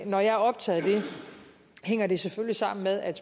når jeg er optaget af det hænger det selvfølgelig sammen med at